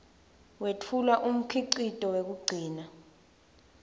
wetfula umkhicito wekugcina